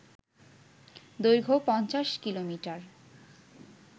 দৈর্ঘ্য ৫০ কিমি